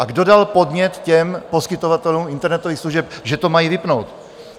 A kdo dal podnět těm poskytovatelům internetových služeb, že to mají vypnout?